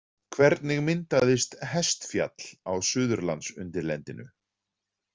Hvernig myndaðist Hestfjall á Suðurlandsundirlendinu?